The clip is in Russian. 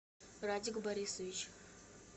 радик борисович